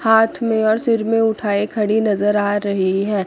हाथ में और सिर में उठाए खड़ी नजर आ रही है।